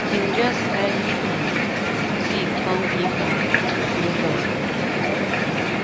him just carry um tea come give her to show love.